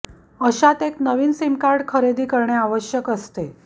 अशात एक नवीन सिम कार्ड खरेदी करणे आवश्यक असते